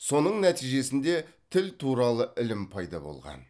соның нәтижесінде тіл туралы ілім пайда болған